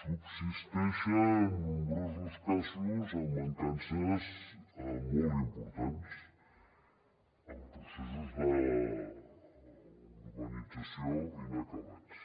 subsisteixen nombrosos casos amb mancances molt importants amb processos d’urbanització inacabats